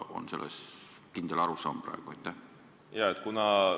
On sellest praegu kindel arusaam?